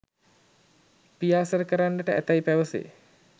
පියාසර කරන්නට ඇතැයි පැවසේ.